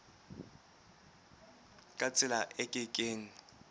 ka tsela e ke keng